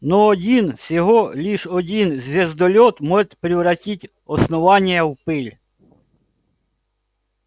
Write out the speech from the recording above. но один всего лишь один звездолёт может превратить основание в пыль